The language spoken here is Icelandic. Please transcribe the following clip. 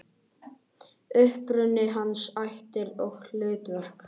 Uppruni hans, ættir og hlutverk.